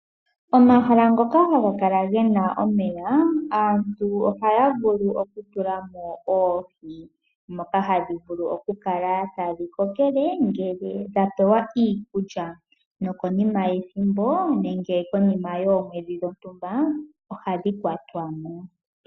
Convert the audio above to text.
Omahala ngoka haga kala gena omeya aantu ohaya vulu oku tulamo oohi. Moka hadhi vulu oku kala tadhi kokele ngele dha pewa iikulya. Noko nima yethimbo nenge konima yoomwedhi dhontumba ohadhi kwatwa mo.